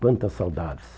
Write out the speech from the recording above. Quantas saudades!